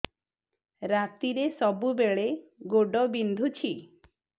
ରାତିରେ ସବୁବେଳେ ଗୋଡ ବିନ୍ଧୁଛି